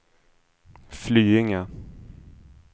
Flyinge